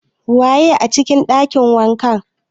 Waye a cikin ɗakin wankan?